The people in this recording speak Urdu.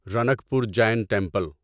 رنک پور جین ٹیمپل